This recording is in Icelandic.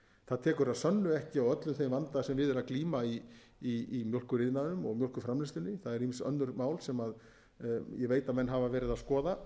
það tekur að sönnu ekki á öllum þeim vanda sem við er að glíma í mjólkuriðnaðinum og mjólkurframleiðslunni það eru ýmis önnur mál sem ég veit að menn hafa verið að skoða